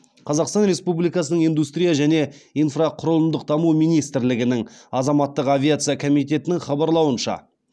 қазақстан республикасының индустрия және инфрақұрылымдық даму министрлігінің азаматтық авиация комитетінің хабарлауынша